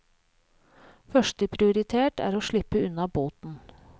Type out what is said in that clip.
Første prioritet er å slippe unna boten.